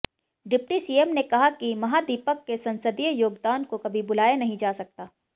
deputy CM ने कहा कि महादीपक के संसदीय योगदान को कभी भुलाया नहीं जा सकता